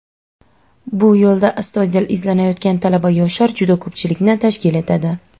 bu yo‘lda astoydil izlanayotgan talaba-yoshlar juda ko‘pchilikni tashkil etadi.